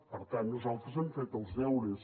per tant nosaltres hem fet els deures